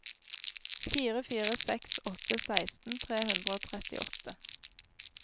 fire fire seks åtte seksten tre hundre og trettiåtte